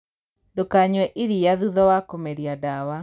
Ndūkanyue iria thutha wa kūmeria dawa